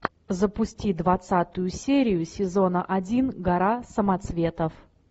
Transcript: запусти двадцатую серию сезона один гора самоцветов